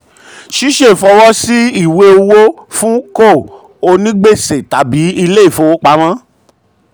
ṣiṣẹ fọwọ́ sí ìwé sí ìwé owó fún co onígbèsè tàbí ilé ìfowopamọ́.